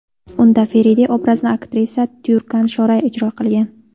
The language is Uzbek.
Unda Feride obrazini aktrisa Tyurkan Shoray ijro qilgan.